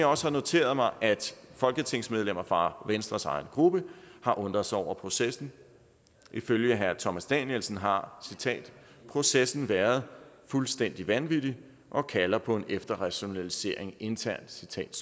også noteret mig at folketingsmedlemmer fra venstres egen gruppe har undret sig over processen ifølge herre thomas danielsen har processen været fuldstændig vanvittig og kalder på en efterrationalisering internt